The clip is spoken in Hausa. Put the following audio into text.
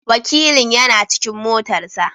Wakilin yana cikin motar sa.